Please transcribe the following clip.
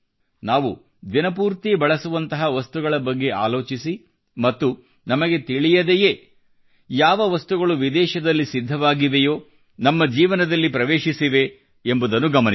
ನಾವು ದಿನಪೂರ್ತಿ ಬಳಸುವಂತಹ ವಸ್ತುಗಳ ಬಗ್ಗೆ ಆಲೋಚಿಸಿ ಮತ್ತು ನಮಗೆ ತಿಳಿಯದೆಯೇ ಯಾವ ವಿದೇಶದಲ್ಲಿ ಸಿದ್ಧವಾದ ವಸ್ತುಗಳು ನಮ್ಮ ಜೀವನದಲ್ಲಿ ಪ್ರವೇಶಿಸಿವೆ ಎಂಬುದನ್ನು ಗಮನಿಸಿ